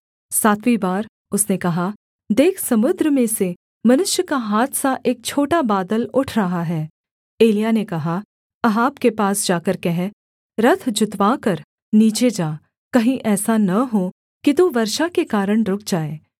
सातवीं बार उसने कहा देख समुद्र में से मनुष्य का हाथ सा एक छोटा बादल उठ रहा है एलिय्याह ने कहा अहाब के पास जाकर कह रथ जुतवाकर नीचे जा कहीं ऐसा न हो कि तू वर्षा के कारण रुक जाए